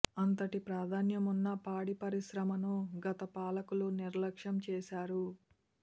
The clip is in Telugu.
అంతటి ప్రాధాన్యమున్న పాడి పరిశ్రమను గత పాలకులు నిర్లక్ష్యం చేశారు